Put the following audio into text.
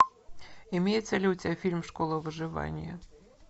имеется ли у тебя фильм школа выживания